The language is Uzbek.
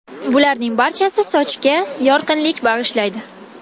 Bularning barchasi sochga yorqinlik bag‘ishlaydi.